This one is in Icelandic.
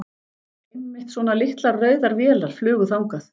Einmitt svona litlar, rauðar vélar flugu þangað.